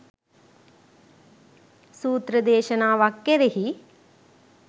සූත්‍ර දේශනාවක් කෙරෙහි